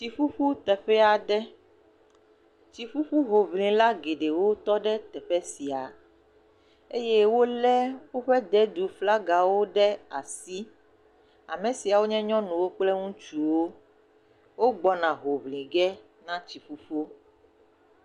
Tsiƒuƒu teƒe aɖe. tsiƒuƒu hoŋlila geɖe wotɔ ɖe teƒe sia eye wo le woƒe de du ƒe flagawo ɖe asi. Ame siawo nye nyɔnuwo kple ŋutsuwo. Wogbɔna hoŋlige na tsiƒuƒu.